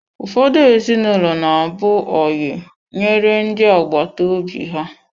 Ụfọdụ ezinụlọ na-abụ oyi nyere ndị agbata obi ha.